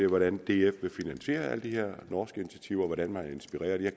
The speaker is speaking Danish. hvordan df vil finansiere alle de her norske initiativer og hvordan man er inspireret jeg